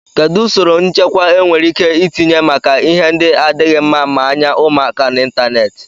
Kedụ usoro nchekwa e nwereike itinye maka ihe ndị adịghị mma maa anya ụmụaka n'Ịntanet?